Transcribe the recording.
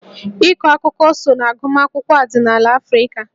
Ịkọ akụkọ so na agụmakwụkwọ ọdịnala Afrịka